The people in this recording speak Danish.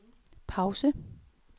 pause